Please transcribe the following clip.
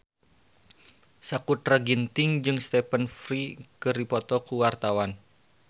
Sakutra Ginting jeung Stephen Fry keur dipoto ku wartawan